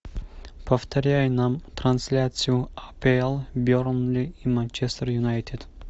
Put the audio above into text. повторяй нам трансляцию апл бернли и манчестер юнайтед